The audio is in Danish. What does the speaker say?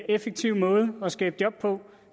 effektiv måde at skabe job på